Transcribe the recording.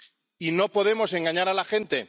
Y no podemos engañar a la gente.